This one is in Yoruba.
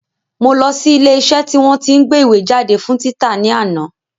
Mo lọ sí ilé iṣẹ́ tí wọ́n tí ń gbé ìwé jáde fún títa ní àná